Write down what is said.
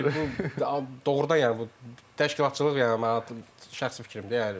Yəni ki, bu doğrudan, yəni bu təşkilatçılıq yəni mənim şəxsi fikrimdir.